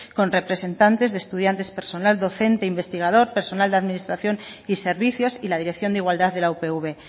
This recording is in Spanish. con representantes de estudiantes personal docente investigador personal de administración y servicios y la dirección de igualdad de la upv